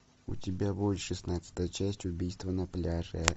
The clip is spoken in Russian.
у тебя будет шестнадцатая часть убийство на пляже